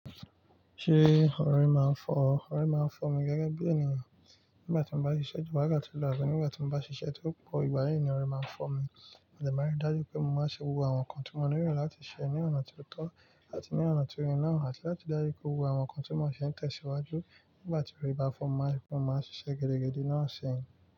Ṣé ọ̀ri máa ń fọ́ ọ? Ọ̀ri máa ń fọ́ mi gẹ́gẹ́ bí ènìyàn. Nígbà tí mo bá ṣiṣẹ́ ju wákàtí lọ àbí nígbà tí mo bá ṣiṣẹ́ tó pọ̀, ìgbà yì ni ọ̀ri máa ń fọ́ mi. Mo dé maa n rí dájú pé mo maa ṣe gbogbo àwọn ǹkan tí mo nílò láti ṣe ní ọ̀nà tí ó tó àti ní ọ̀nà tí ó yẹ náà àti láti rí dájú pé gbogbo àwọn ǹkan tí mo n ṣe tẹ̀síwájú. Nígbà tí orí bá fọ́ mi, mo maa n rí mo máa ṣiṣẹ́ geregede ní ọ̀sẹ̀ yẹn.